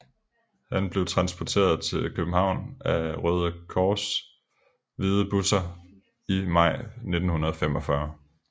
Han blev transporteret til København af Røde Kors hvide busser i maj 1945